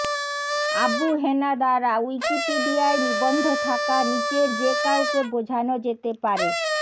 আবু হেনা দ্বারা উইকিপিডিয়ায় নিবন্ধ থাকা নিচের যে কাউকে বোঝানো যেতে পারেঃ